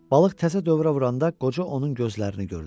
Balıq təzə dövrə vuranda qoca onun gözlərini gördü.